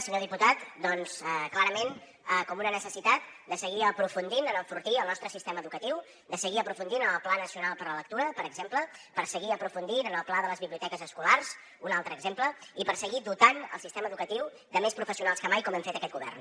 senyor diputat doncs clarament com una necessitat de seguir aprofundint en enfortir el nostre sistema educatiu de seguir aprofundint en el pla nacional per la lectura per exemple per seguir aprofundint en el pla de les biblioteques escolars un altre exemple i per seguir dotant el sistema educatiu de més professionals que mai com hem fet aquest govern